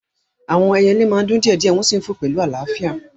Àwọn ẹyẹlé máa ń dún díẹ̀ díẹ̀ wọ́n sì ń fò pẹ̀lú àlàáfíà